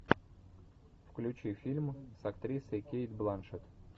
включи фильм с актрисой кейт бланшетт